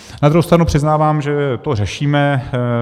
Na druhou stranu přiznávám, že to řešíme.